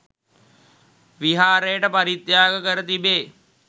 විහාරයට පරිත්‍යාග කර තිබේ.